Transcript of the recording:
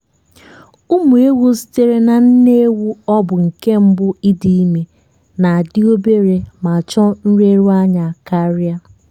ụmụ ewu sitere na nne ewu ọ bụ nke mbụ ịdị ime na dị obere ma chọọ nleru anya karịa.